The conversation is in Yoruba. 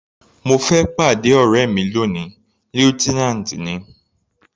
Mo fẹ́ pàdé ọ̀rẹ́ mi lóni, lieutenant ni.